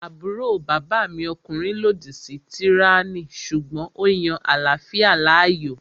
Àbúrò bàbá mi ọkùnrin lòdì sí tíráyánì sùgbọ́n ó yan àláfíà láàyò